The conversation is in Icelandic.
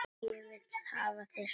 Ég vil hafa þig svona.